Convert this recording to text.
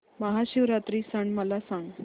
महाशिवरात्री सण मला सांग